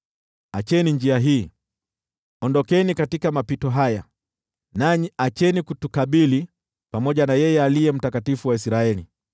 Acheni njia hii, ondokeni katika mapito haya, nanyi acheni kutukabili pamoja na yeye Aliye Mtakatifu wa Israeli!”